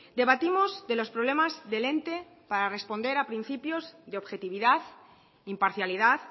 debatimos de los problemas del ente para responder a principios de objetividad imparcialidad